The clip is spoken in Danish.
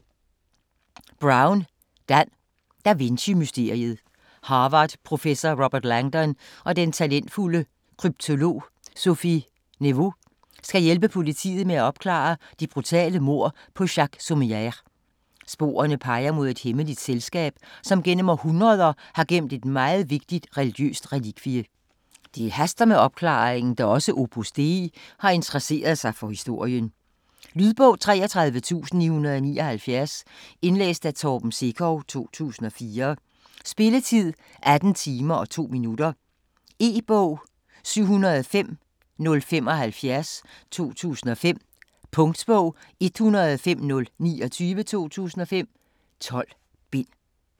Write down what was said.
Brown, Dan: Da Vinci mysteriet Harvardprofessor Robert Langdon og den talentfulde kryptolog Sophie Neveu skal hjælpe politiet med at opklare det brutale mord på Jacques Saumière. Sporene peger mod et hemmeligt selskab, som gennem århundreder har gemt et meget vigtigt religiøst relikvie. Det haster med opklaringen, da også Opus Dei har interesseret sig for historien. Lydbog 33979 Indlæst af Torben Sekov, 2004. Spilletid: 18 timer, 2 minutter. E-bog 705075 2005. Punktbog 105029 2005. 12 bind.